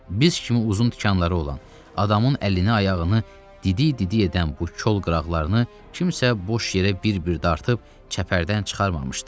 Biz kimi uzun tikanları olan, adamın əlini-ayağını didi-didi edən bu kol qıraqlarını kimsə boş yerə bir-bir dartıb çəpərdən çıxarmamışdı.